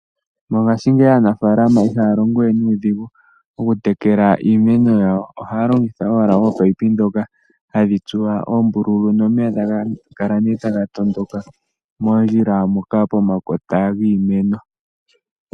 Mongaashingeyi aanafaalama ihaya longo we nuudhigu oku tekela iimeno yawo. Ohaya longitha owala ominino ndhoka hadhi tsuwa oombululu, nomeya taga kala nee taga tondoka moondjila moka po makota giimeno.